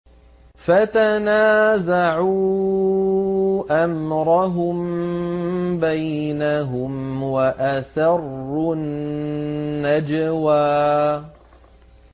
فَتَنَازَعُوا أَمْرَهُم بَيْنَهُمْ وَأَسَرُّوا النَّجْوَىٰ